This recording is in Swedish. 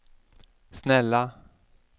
snälla